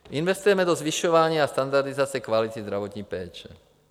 Investujeme do zvyšování a standardizace kvality zdravotní péče.